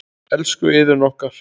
Elsku Iðunn okkar.